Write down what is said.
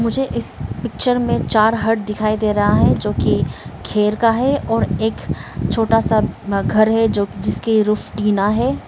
मुझे इस पिक्चर में चार हट दिखाई दे रहा है जोकि खेर का है और एक छोटा सा घर है जो जिसकी रूफ टीना है।